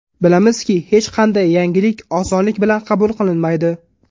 Bilamizki, hech qanday yangilik osonlik bilan qabul qilinmaydi.